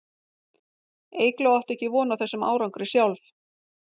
Eygló átti ekki von á þessum árangri sjálf.